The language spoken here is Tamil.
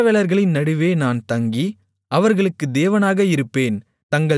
இஸ்ரவேலர்களின் நடுவே நான் தங்கி அவர்களுக்குத் தேவனாக இருப்பேன்